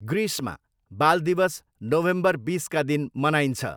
ग्रिसमा, बाल दिवस नोभेम्बर बिसका दिन मनाइन्छ।